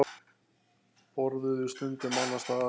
Borðuðu stundum annars staðar.